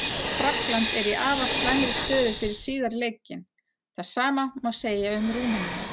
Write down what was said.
Frakkland er í afar slæmri stöðu fyrir síðari leikinn, það sama má segja um Rúmeníu.